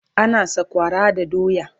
ana sakwara da doya